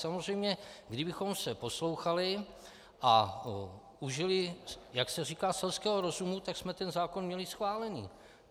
Samozřejmě kdybychom se poslouchali a užili, jak se říká, selského rozumu, tak jsme ten zákon měli schválený.